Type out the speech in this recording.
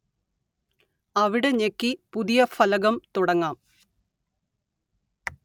അവിടെ ഞെക്കി പുതിയ ഫലകം തുടങ്ങാം